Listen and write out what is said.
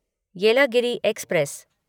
Yelagiri express